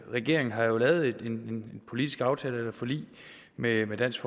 regeringen har jo lavet en politisk aftale et forlig med dansk